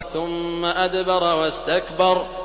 ثُمَّ أَدْبَرَ وَاسْتَكْبَرَ